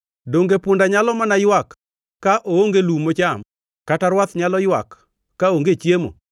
Donge punda nyalo mana ywak ka oonge lum mocham, kata rwath nyalo ywak kaonge chiemo?